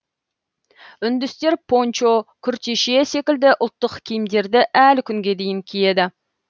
үндістер пончо күртеше секілді ұлттық киімдерді әлі күнге дейін киеді